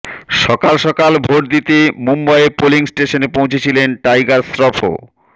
সকাল সকাল ভোট দিতে মুম্বইয়ে পোলিং স্টেশনে পৌঁছেছিলেন টাইগার শ্রুফও